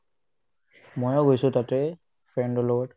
ময়ো গৈছো তাতে friend ৰ লগত